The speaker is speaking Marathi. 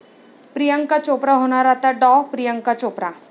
प्रियांका चोप्रा होणार आता डॉ. प्रियांका चोप्रा!